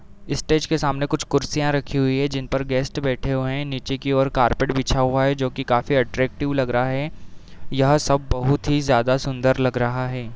Stage के सामने कुछ कुर्सियां रखी हुई हैं जिनपर गेस्ट बैठे हुए हैं। नीचे की और कारपेट बिछा हुआ है जो कि काफी अट्रैक्टिव लग रहा है | यह सब बोहोत ही ज्यादा सुन्दर लग रहा है।